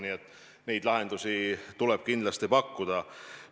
Nii et lahendusi tuleb kindlasti pakkuda.